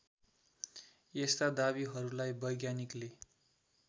यस्ता दावीहरूलाई वैज्ञानिकले